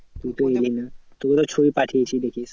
তুই তো এলি না তোকে তো ছবি পাঠিয়েছি দেখিস।